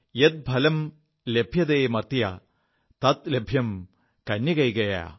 യത് ഫലം ലഭ്യതേ മാർത്യ തത് ലഭ്യം കന്യകൈകയാ